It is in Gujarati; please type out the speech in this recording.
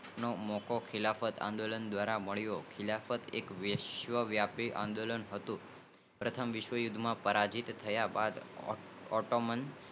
નો મોકો ખીલમત આંદોલન દ્ધારા મળિયો હતો ખિલાયાત આ વાઇસવ્ય વ્યાપી આંદોલન હતું જે કારણે મુસલમાનો ને ડર્મ અને ધાર્મિક સ્થળો ની સિરક્ષા લઇ